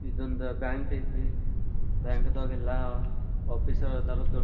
ಇದೊಂದ್ ಬ್ಯಾಂಕ್ ಐತಿ ಬ್ಯಾಂಕ್ ದಗೆಲ್ಲಾ ಆಫೀಸರ್ ಅದರ್ ದೋ.